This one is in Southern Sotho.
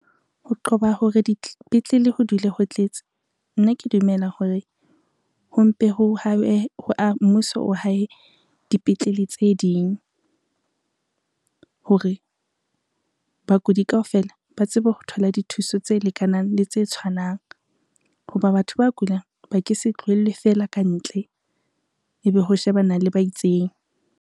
Ho qoba hore dipetlele ho dule ho tletse nna ke dumela hore, mmuso o hae dipetlele tse ding. Hore bakudi kaofela ba tsebe ho thola dithuso tse lekanang le tse tshwanang, ho ba batho ba kulang ba ke se tlohelwe fela ka ntle, ebe ho shebana le ba itseng.